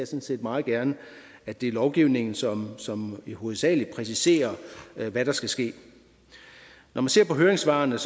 set meget gerne at det er lovgivningen som som hovedsagelig præciserer hvad der skal ske når man ser på høringssvarene